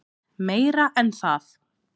Meira en það.